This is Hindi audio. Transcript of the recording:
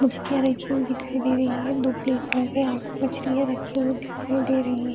मछलियां रखी हुई दिखाई दे रही है दो प्लेट मछलियां रखी हुई दिखाई दे रही है।